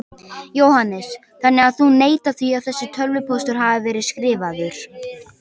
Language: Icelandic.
Jóhannes: Þannig að þú neitar því að þessi tölvupóstur hafi verið skrifaður?